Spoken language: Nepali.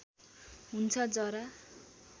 हुन्छ जरा